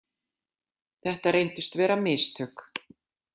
Þetta reyndust vera mistök.